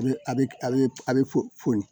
A bɛ a bɛ a bɛ a bɛ fu ni